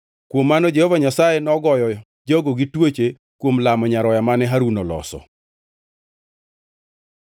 Kuom mano, Jehova Nyasaye nogoyo jogo gi tuoche kuom lamo nyaroya mane Harun oloso.